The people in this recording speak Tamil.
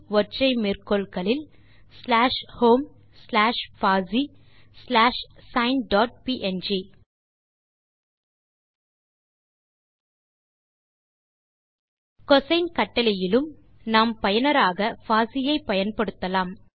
ஒற்றை மேற்கோள்களில் ஸ்லாஷ் ஹோம் ஸ்லாஷ் பாசி slash sine dot png cosine கட்டளையிலும் நாம் பயனராக பாசி ஐ பயன்படுத்தலாம்